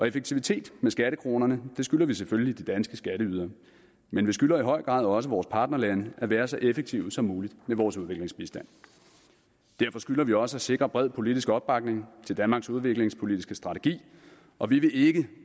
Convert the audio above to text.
effektivitet med skattekronerne skylder vi selvfølgelig de danske skatteydere men vi skylder i høj grad også vores partnerlande at være så effektive som muligt med vores udviklingsbistand derfor skylder vi også at sikre bred politisk opbakning til danmarks udviklingspolitiske strategi og vi vil ikke